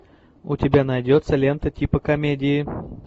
у тебя найдется лента типа комедии